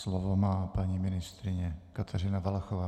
Slovo má paní ministryně Kateřina Valachová.